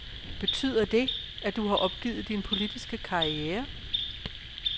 Betyder det, at du har opgivet din politiske karriere?